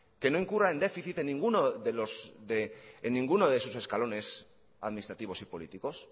que no incurra en déficit en ninguno de sus escalones administrativos y políticos